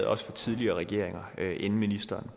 også tidligere regeringer inden ministeren